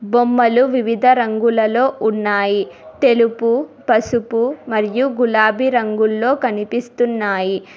బొమ్మలు వివిధ రంగులలో ఉన్నాయి తెలుపు పసుపు మరియు గులాబీ రంగులో కనిపిస్తున్నాయి.